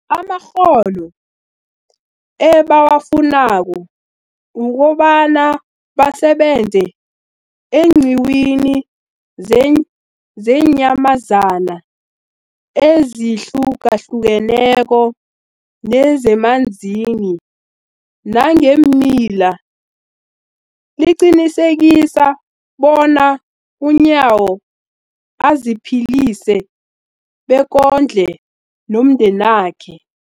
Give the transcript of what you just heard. amakghono ebawafunako ukobana basebenze eenqiwini zeenyamazana ezihlukahlukeneko nezemanzini nangeemila, liqinisekisa bona uNyawo aziphilise bekondle nomndenakhe.